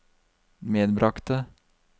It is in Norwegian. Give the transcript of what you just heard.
medbragte